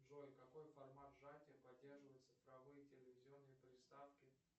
джой какой формат сжатия поддерживают цифровые телевизионные приставки